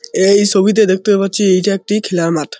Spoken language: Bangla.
এই ছবিতে দেখতে পাচ্ছি এইটা একটি খেলার মাঠ ।